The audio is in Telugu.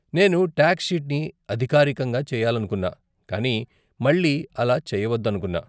నేను టాక్స్ షీట్ని అధికారికంగా చేయించాలనుకున్నా, కానీ మళ్లీ అలా చేయవద్దనుకున్నా.